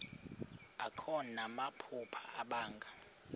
akho namaphupha abanga